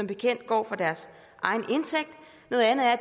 bekendt går fra deres egen indtægt noget andet er at